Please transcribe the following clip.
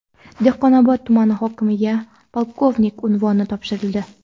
Dehqonobod tumani hokimiga polkovnik unvoni topshirildi.